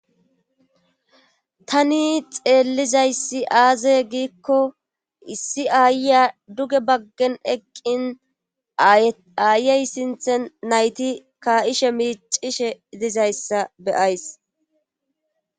Tani xeellizayssi aaze giikko issi aayya duge baggen eqqin aayey sinthe nayti ka7ishe miicishe idizayssa beyays.